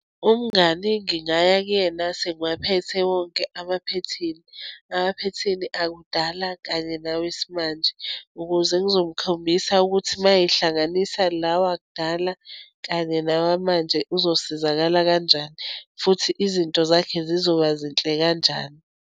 Umngani ngingaya kuyena sengiwaphethe wonke amaphethini. Emaphethini akudala, kanye nawesimanje ukuze ngizomkhombisa ukuthi uma ehlanganisa la wakudala, kanye nawamanje uzosizakala kanjani, futhi izinto zakhe zizoba zinhle kanjani.